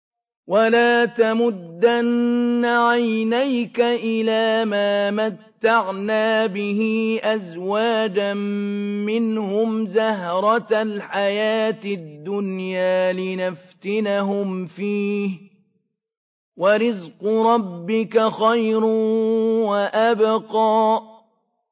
وَلَا تَمُدَّنَّ عَيْنَيْكَ إِلَىٰ مَا مَتَّعْنَا بِهِ أَزْوَاجًا مِّنْهُمْ زَهْرَةَ الْحَيَاةِ الدُّنْيَا لِنَفْتِنَهُمْ فِيهِ ۚ وَرِزْقُ رَبِّكَ خَيْرٌ وَأَبْقَىٰ